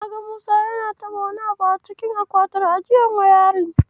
Na ga Musa yana taɓa wani abu a cikin akwatin ajiyar wayarin.